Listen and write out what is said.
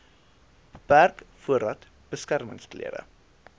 beperk voordat beskermingsklere